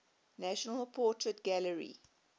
national portrait gallery